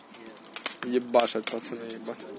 ебашат пацаны ебать